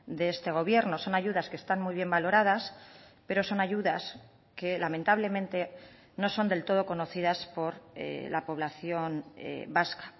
de este gobierno son ayudas que están muy bien valoradas pero son ayudas que lamentablemente no son del todo conocidas por la población vasca